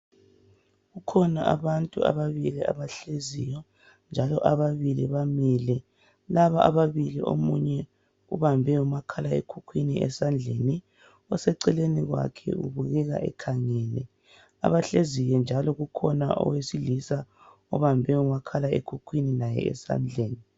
Kukhona abantu ababili abahleziyo njalo ababili bamile laba ababili omunye ubambe umakhalekhukhwini esandleni oseceleni kwakhe ubukeka ekhangele abahleziyo njalo kukhona owesilisa obambe umakhalekhukhwini laye esandleni.